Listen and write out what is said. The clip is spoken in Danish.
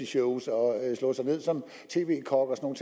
shows og slå sig ned som tv kok og